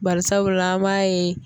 Barisabula an b'a ye